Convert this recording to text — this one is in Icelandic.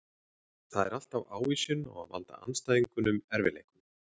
Það er alltaf ávísun á að valda andstæðingunum erfiðleikum.